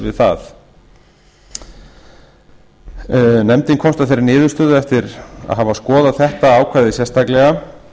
við það nefndin komst að þeirri niðurstöðu eftir að hafa skoðað þetta ákvæði sérstaklega